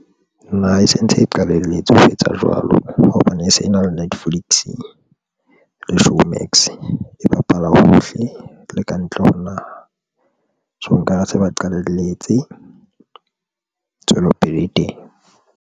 Naha e sentse e qalelletse ho etsa jwalo hobane e se e na le Netflix le Showmax. E bapala hohle le ka ntle ho naha. So nka re se ba qalalletse tswelopele e.